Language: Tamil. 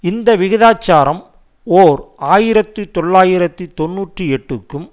இந்த விகிதாச்சாரம் ஓர் ஆயிரத்தி தொள்ளாயிரத்தி தொன்னூற்றி எட்டுக்கும்